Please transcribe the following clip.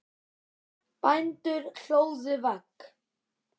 Bændur hlóðu vegg.